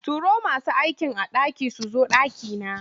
Turo masu aikin a ɗaki su zo ɗakina.